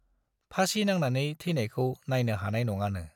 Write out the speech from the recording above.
फासि नांनानै थैनायखौ नायनो हानाय नङानो ।